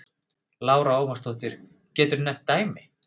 Lára Ómarsdóttir: Geturðu nefnt dæmi?